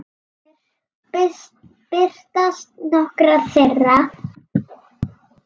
Hér birtast nokkrar þeirra.